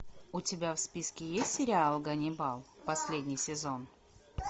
у тебя в списке есть сериал ганнибал последний сезон